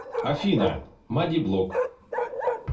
афина маддиблог